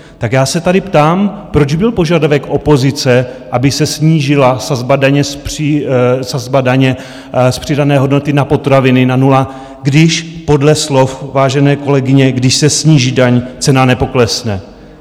Tak já se tady ptám, proč byl požadavek opozice, aby se snížila sazba daně z přidané hodnoty na potraviny na nula, když podle slov vážené kolegyně, když se sníží daň, cena nepoklesne?